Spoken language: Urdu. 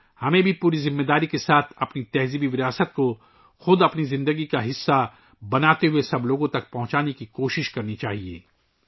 ہمیں بھی پوری ذمہ داری کے ساتھ اپنے ثقافتی ورثے کو اپنی زندگی کا حصہ بنانے کی کوشش کرنی چاہیئے اور اسے تمام لوگوں تک پہنچانا چاہیئے